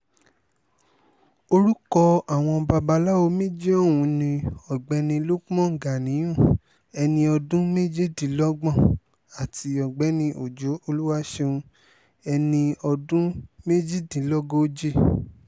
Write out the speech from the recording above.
orúkọ àwọn babaláwo méjì ọ̀hún ni ọ̀gbẹ́ni lukman ganiyun ẹni ọdún méjìdínlọ́gbọ̀n àti ọ̀gbẹ́ni ọjọ́ olùwàṣẹ́un ẹni ọdún méjìdínlógójì